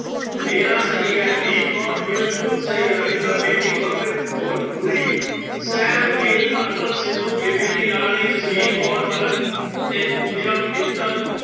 ਮੇਰਾ ਸਹੀ ਹੈ ਦੀਪ ਕੌਰ ਬਿਲਕੁਲ ਸਹੀ, ਹਰਵਿੰਦਰ ਵੇਦੀ, ਗੁਰਪ੍ਰੀਤ ਗੋ ਗੁਰੀ, ਸੈਮ ਗਿੱਲ, ਅਰਪਣ ਸਿੱਧੂ, ਬੇਬੇ ਦੀ ਲਾਡਲੀ ਜਸਵੀਰ ਕੌਰ ਪਲਕ ਤੇ ਪੂਜਾ ਮਿੱਤਲ